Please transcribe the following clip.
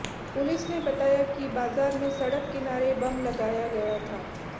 police ने बताया कि बाजार में सड़क किनारे बम लगाया गया था